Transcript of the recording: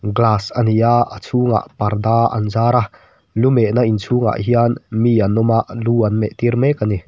glass a ni a a chhungah parda an zar a lu mehna inchhung ah hian mi an awm a lu an meh tir mek a ni.